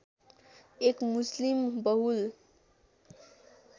एक मुस्लिम बहुल